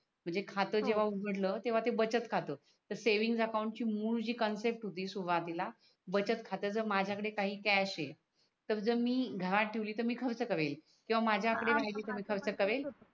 म्हणजे खात जेव्हा उगडल तेव्हा ते बचत खात तर सेव्हिंग अकाउंट मूड जी कन्सेप्ट होती सुरवातीला बचत खात्याच माझ्या कडे काही कॅश तर जर मी गहाण ठेवली तर मी खर्च करेल किवा माझ्या कडे आहे तर मी खर्च करेल हा माझ्या